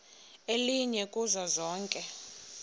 elinye kuzo zonke